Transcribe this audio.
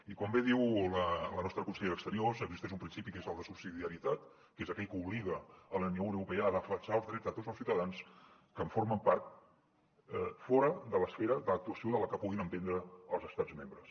i com bé diu la nostra consellera d’exteriors existeix un principi que és el de subsidiarietat que és aquell que obliga la unió europea a defensar els drets de tots els ciutadans que en formen part fora de l’esfera d’actuació que puguin emprendre els estats membres